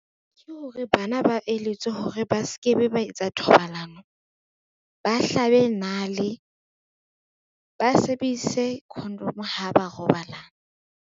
Ke hore bana ba eletswe hore ba ske be ba etsa thobalano, ba hlabe nale, ba sebedise condom ha ba robalana.